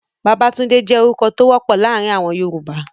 Babatunde je orukọ to wopọ laarin awọn Yoruba